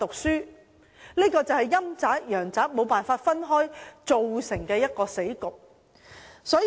這便是陰宅和陽宅共存所造成的死局。